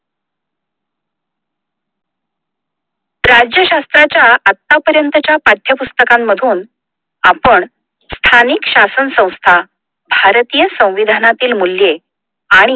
राज्यशास्त्र च्या आत्ता पर्यंतच्या पठ्यपुस्तकांमधून आपण स्थानिक शासन संस्था, भारतीय संविधानातील मूल्ये आणि